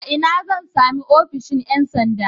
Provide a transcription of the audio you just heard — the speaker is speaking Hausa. A ina zan sami ofishin ƴan sanda?